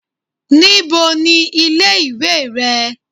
Ní bo ni ilé ìwé re?